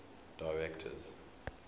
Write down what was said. directors